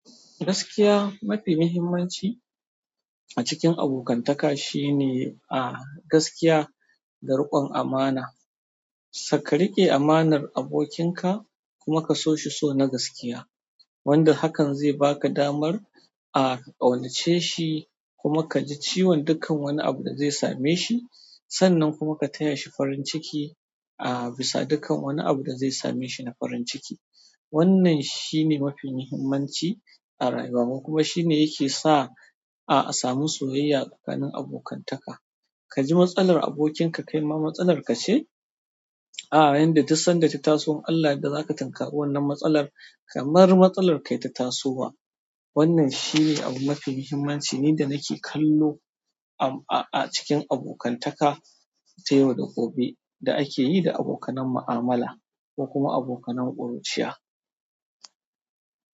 Gaskiya mafi muhimmanci a cikin abokantaka shine a gaskiya da riƙon amana. Suka riƙe amanar abokinka kuma ka so shi so na gaskiya, wanda hakan zai baka damar a ka ƙaunace shi kuma ka ji ciwon dukkan wani abu da zai same shi. Sannan kuma ka taya shi farin ciki, a bisa dukkan wani abu da zai same shi na farin ciki. Wannan shine mafi muhimmanci a rayuwa kuma shine yake sa a samu soyayya tsakanin abokantaka. Ka ji matsalar abokinka kai ma matsalar ka ce? A, inda duk sanda ta taso, in Allah ya yadda zaka tinkari wannan matsalar kamar matsalar kai ta tasowa. Wannan shine abu mafi mahimmanci ni da nake kallo a cikin abokanta ta yau da gobe da akeyi da abokan ma'amala ko kuma abokan ƙuriciya.